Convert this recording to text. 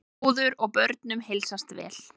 Móður og börnum heilsast vel.